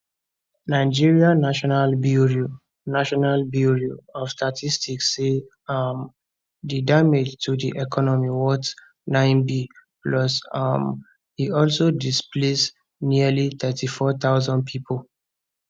nigeria national bureau national bureau of statistics say um di damage to di economy worth 9b plus um e also displace nearly 34000 pipo